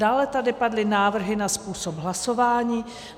Dále tady padly návrhy na způsob hlasování.